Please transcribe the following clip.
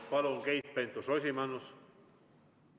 Palun, Keit Pentus-Rosimannus!